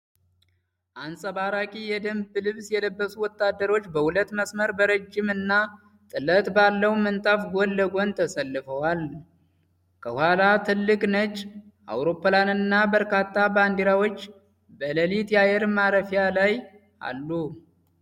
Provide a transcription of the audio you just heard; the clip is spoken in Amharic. አንጸባራቂ የደንብ ልብስ የለበሱ ወታደሮች በሁለት መስመር በረጅም እና ጥለት ባለው ምንጣፍ ጎን ለጎን ተሰልፈዋል። ከኋላ ትልቅ ነጭ አውሮፕላንና በርካታ ባንዲራዎች በሌሊት አየር ማረፊያ ላይ አሉ።